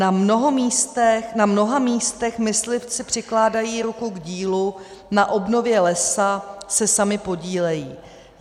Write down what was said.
Na mnoha místech myslivci přikládají ruku k dílu, na obnově lesa se sami podílejí.